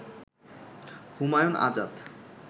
Humayun Azad